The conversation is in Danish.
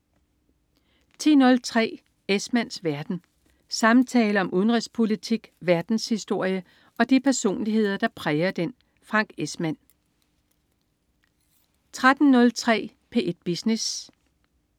10.03 Esmanns verden. Samtaler om udenrigspolitik, verdenshistorie og de personligheder, der præger den. Frank Esmann 13.03 P1 Business